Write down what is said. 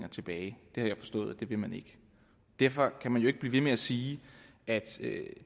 tilbage jeg har forstået at det vil man ikke derfor kan man jo ikke blive ved med at sige at